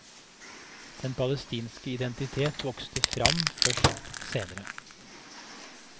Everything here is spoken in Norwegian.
Den palestinske identitet vokste frem først senere.